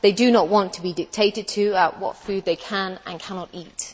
They do not want to be dictated to about what food they can and cannot eat.